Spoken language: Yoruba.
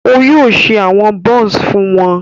O yóò ṣe awọn buns fún wọn